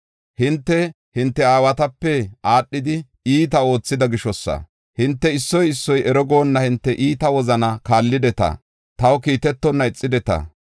Hinte, hinte aawatape aadhidi iita oothida gishosa. Hinte issoy issoy ero goonna hinte iita wozanaa kaallideta; taw kiitetonna ixideta.